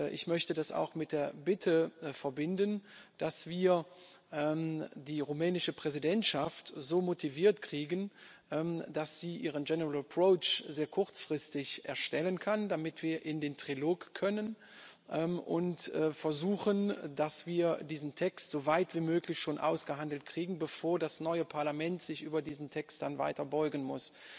Ich möchte das auch mit der Bitte verbinden, dass wir die rumänische Präsidentschaft so motiviert kriegen, dass sie ihren sehr kurzfristig erstellen kann, damit wir in den Trilog und versuchen können, dass wir diesen Text so weit wie möglich schon ausgehandelt kriegen, bevor das neue Parlament sich dann weiter über diesen Text beugen muss.